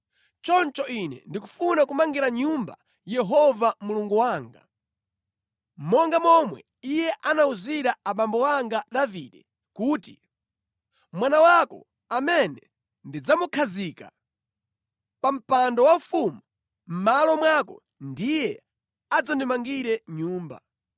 Choncho ine ndikufuna kumangira nyumba Yehova Mulungu wanga, monga momwe Iye anawuzira abambo anga Davide kuti, ‘Mwana wako amene ndidzamukhazike pa mpando waufumu mʼmalo mwako ndiye adzandimangire Nyumba.’